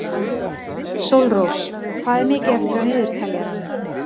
Sólrós, hvað er mikið eftir af niðurteljaranum?